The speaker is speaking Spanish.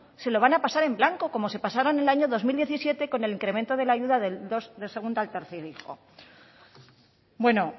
se lo van a pasar en blanco como se pasaron el año dos mil diecisiete con el incremento de la ayuda del segundo al tercer hijo bueno